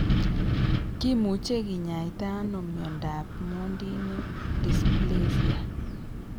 Kimuche kinyaita ano miondap Mondini dysplasia ?